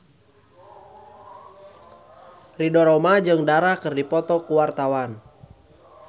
Ridho Roma jeung Dara keur dipoto ku wartawan